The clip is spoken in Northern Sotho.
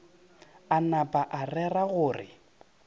a napa a rera gore